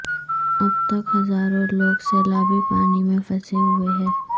اب تک ہزاروں لوگ سیلابی پانی میں پھنسے ہوئے ہیں